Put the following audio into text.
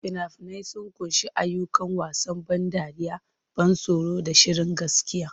Fina-finai sun ƙunshi ayyuka, wasan ban dariya, ban tsoro, da shirin gaskiya.